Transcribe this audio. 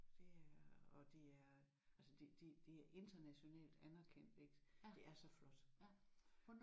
Det er og det er altså det det det er internationalt anerkendt ik? Det er så flot